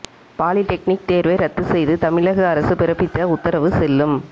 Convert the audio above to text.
polytechnic தேர்வை ரத்து செய்து தமிழக அரசு பிறப்பித்த உத்தரவு செல்லும்